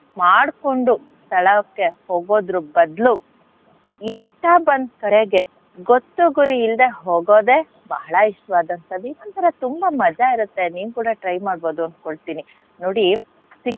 ಮಾಡ್ಕೊಂಡು ಸ್ಥಳಕ್ಕೆ ಹೋಗೋದ್ರು ಬದ್ಲು ಇಷ್ಟ ಬಂದ್ ಕಡೆಗೆ ಗೊತ್ತು ಗುರಿ ಇಲ್ದೆ ಹೋಗೋದೇ ಬಹಳ ಇಷ್ಟವಾದಂಥದ್ದು. ಇದೊಂತರ ತುಂಬಾ ಮಜಾ ಇರತ್ತೆ. ನೀವ್ ಕೂಡ try ಮಾಡ್ಬೋದು ಅನ್ಕೋತೀನಿ. ನೋಡಿ,